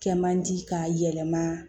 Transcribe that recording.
Kɛ man di k'a yɛlɛma